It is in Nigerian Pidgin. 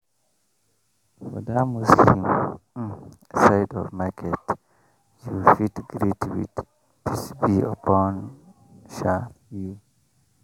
for that muslim um side of market you fit greet with “peace be upon um you